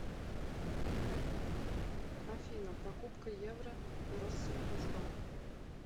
афина покупка евро россельхозбанк